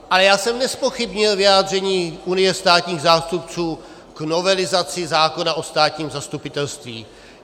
Ale já jsem nezpochybnil vyjádření Unie státních zástupců k novelizaci zákona o státním zastupitelství.